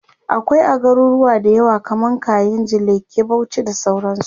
akwai a garuruwa da yawa kaman kainji, lekki, Bauchi da sauransu